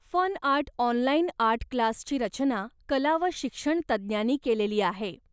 Fun art online art क्लासची रचना कला व शिक्षण तज्ज्ञांनी केलेली आहे.